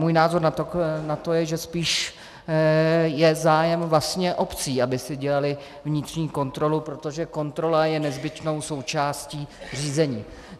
Můj názor na to je, že spíš je zájem vlastně obcí, aby si dělaly vnitřní kontrolu, protože kontrola je nezbytnou součástí řízení.